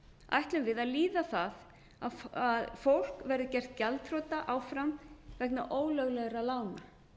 ætlum við að líða það að fólk verði gert gjaldþrota áfram vegna ólöglegra lána